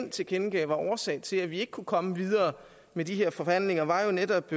tilkendegav var årsag til at vi ikke kunne komme videre med de her forhandlinger var jo netop